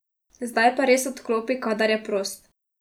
Zdaj pa res odklopi, kadar je prost.